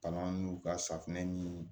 Palan n'u ka safinɛ ɲini